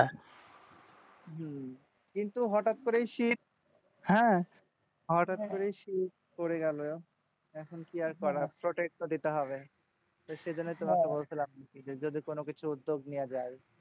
হম কিন্তু হঠাৎ করেই শীত হ্যাঁ হঠাৎ করেই শীত পরে গেলো এখন কি আর করার protect তো দিতে হবে সেইজন্যই তো বলছিলাম যে যদি কোন কিছু উদ্যোগ নেওয়া যায়।